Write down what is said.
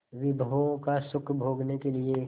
विभवों का सुख भोगने के लिए